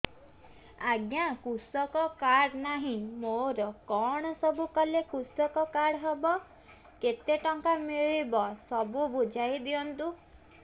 ଆଜ୍ଞା କୃଷକ କାର୍ଡ ନାହିଁ ମୋର କଣ ସବୁ କଲେ କୃଷକ କାର୍ଡ ହବ କେତେ ଟଙ୍କା ମିଳିବ ସବୁ ବୁଝାଇଦିଅନ୍ତୁ